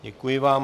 Děkuji vám.